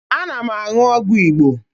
Ana m aṅụ ọgwụ Igbo